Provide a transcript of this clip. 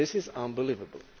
This is unbelievable!